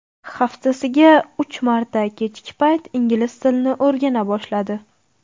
Haftasiga uch marta kechki payt ingliz tilini o‘rgana boshladi.